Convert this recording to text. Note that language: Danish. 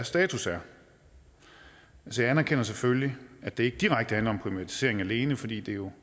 status er jeg anerkender selvfølgelig at det ikke direkte handler om privatisering alene fordi det jo